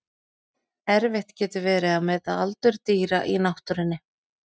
Erfitt getur verið að meta aldur dýra í náttúrunni.